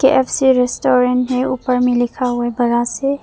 KFC restaurant है ऊपर में लिखा हुआ है बड़ा से।